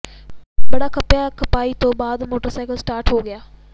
ਬੜਾ ਖਪਿਆ ਪਰ ਖਪਾਈ ਤੋਂ ਬਾਅਦ ਮੋਟਰਸਾਈਕਲ ਸਟਾਰਟ ਹੋ ਗਿਆ